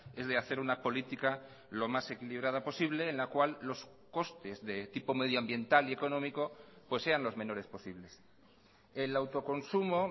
es de hacer una política lo más equilibrada posible en la cual los costes de tipo medioambiental y económico pues sean los menores posibles el autoconsumo